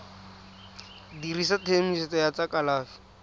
dirisa tshedimosetso ya tsa kalafi